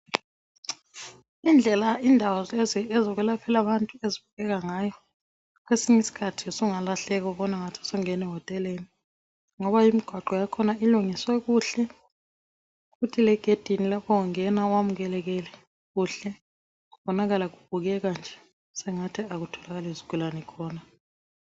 Indlela indawo lezi ezokwelaphela abantu ezibukeka ngayo .Kwesinyisikhathi ,sungalahleka ubonangathi sungene hoteleni .Ngoba imigwaqo yakhona ilungiswe kuhle futhi legedini lapho ungena wamukelekile kuhle. Kubonakala kubukeka nje sengathi akutholakali zigulani khona.